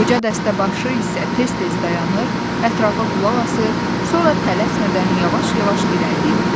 Qoca dəstəbaşı isə tez-tez dayanır, ətrafa qulaq asır, sonra tələsmədən yavaş-yavaş irəliləyirdi.